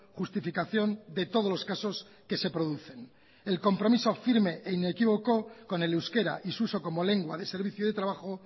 justificación de todos los casos que se producen el compromiso firme e inequívoco con el euskera y su uso como lengua de servicio de trabajo